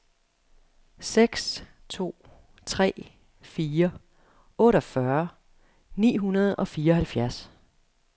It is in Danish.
seks to tre fire otteogfyrre ni hundrede og fireoghalvfjerds